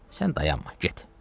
Sən dayanma, get.